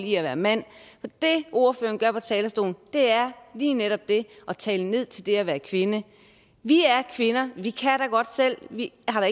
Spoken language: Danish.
i at være mand det ordføreren gør fra talerstolen er lige netop det at tale ned til det at være kvinde vi er kvinder vi kan da godt selv vi har